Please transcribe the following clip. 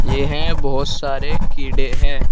यह बहोत सारे कीड़े हैं।